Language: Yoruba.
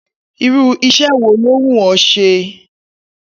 Irú is̩é̩ wo ló wù ó̩ s̩e?